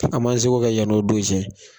An ma seko kɛ yan n'o don cɛ